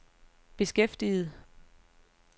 beskæftiget